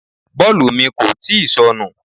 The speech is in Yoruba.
Bọ́ọ̀lù mi kò tíì sọnù.